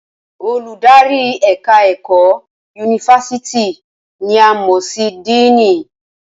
Olùdarí ẹ̀ka ẹ̀kọ́ yunifásítì ni a mọ̀ sí díìnì